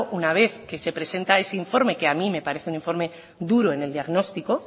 una vez que se presenta ese informe que a mí me parece un informe duro en el diagnóstico